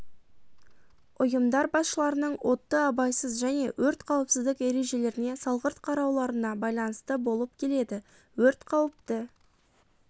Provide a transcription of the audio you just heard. ұйымдар басшыларының отты абайсыз және өрт қауіпсіздік ережелеріне салғырт қарауларына байланысты болып келеді өрт қауіпті